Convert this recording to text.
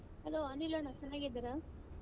Hello ಅನಿಲಣ್ಣ ಚೆನ್ನಾಗಿದ್ದೀರಾ ?